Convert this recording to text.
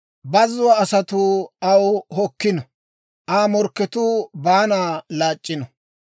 Bazzuwaa asatuu aw hokkino; Aa morkketuu baana laac'c'ino.